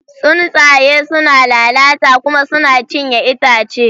Tsuntsaye suna lalata kuma suna cinye itace.